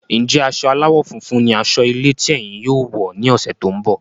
Njẹ asọ aláwọ̀ funfun ní asọ ilé tí ẹyìn yóò wọ ní ọsẹ tó n bọ?